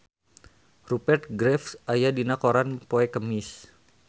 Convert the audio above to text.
Rupert Graves aya dina koran poe Kemis